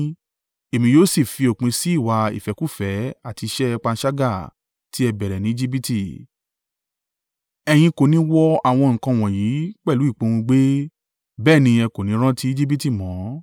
Èmi yóò sì fi òpin sí ìwà ìfẹ́kúfẹ̀ẹ́ àti iṣẹ́ panṣágà tí ẹ bẹ̀rẹ̀ ni Ejibiti. Ẹ̀yin kò ní wo àwọn nǹkan wọ̀nyí pẹ̀lú ìpòùngbẹ, bẹ́ẹ̀ ni ẹ kò ní rántí Ejibiti mọ.